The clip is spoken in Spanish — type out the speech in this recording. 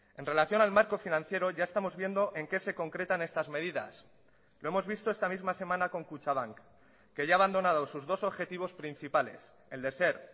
en relación al marco financiero ya estamos viendo en qué se concretan estas medidas lo hemos visto esta misma semana con kutxabank que ya ha abandonado sus dos objetivos principales el de ser